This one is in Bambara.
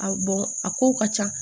A a kow ka ca